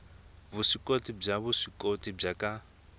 vuswikoti bya vuswikoti byo ka